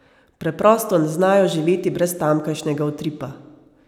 Preprosto ne znajo živeti brez tamkajšnjega utripa.